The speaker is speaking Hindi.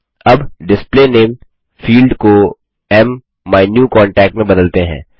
अब डिस्प्ले नामे फील्ड को माइन्यूकॉन्टैक में बदलते हैं